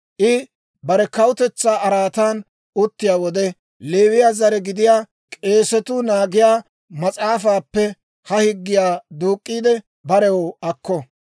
«I bare kawutetsaa araatan uttiyaa wode, Leewiyaa zare gidiyaa k'eesatuu naagiyaa mas'aafaappe ha higgiyaa duuk'k'iide barew akko.